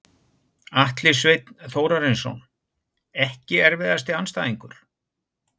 Atli Sveinn Þórarinsson Ekki erfiðasti andstæðingur?